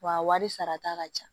Wa a wari sarata ka ca